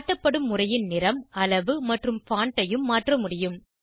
காட்டப்படும் உரையின் நிறம் அளவு மற்றும் பான்ட் ஐயும் மாற்ற முடியும்